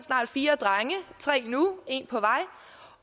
snart fire drenge tre nu og en på vej